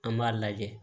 An b'a lajɛ